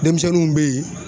Denmisɛnninw be yen